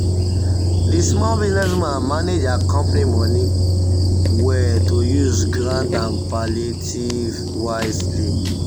the small business woman manage her company money well to use grant and palliative wisely.